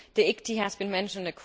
The ICTY has been mentioned.